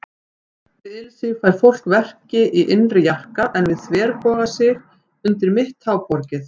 Við ilsig fær fólk verki í innri jarka, en við þverbogasig undir mitt tábergið.